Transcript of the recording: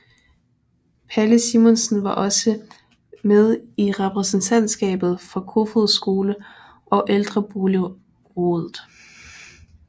Palle Simonsen var også med i Repræsentantskabet for Kofoeds Skole og Ældreboligrådet